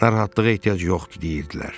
Narahatlığa ehtiyac yoxdur deyirdilər.